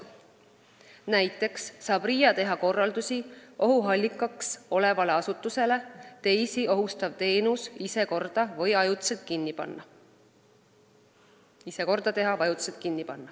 Näiteks saab RIA anda nüüd korraldusi ohuallikaks olevale asutusele teha teisi ohustav teenus ise korda või panna ajutiselt kinni.